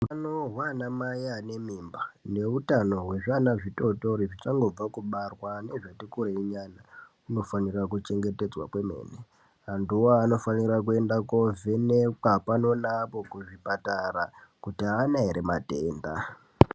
Panohwa ana mai vane mimba neutano wezviana zvitotori nezvichangobva kubarwa nezvati kurei nyana, zvinofana kuchengetedzwa kwemene, antuwo anofanirwa kuende koovhenekwa pano neapo kuzvipatara kuti aana ere matenda.